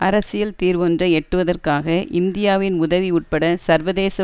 அரசியல் தீர்வொன்றை எட்டுவதற்காக இந்தியாவின் உதவி உட்பட சர்வதேச